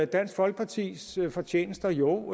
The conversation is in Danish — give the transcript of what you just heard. dansk folkepartis fortjenester jo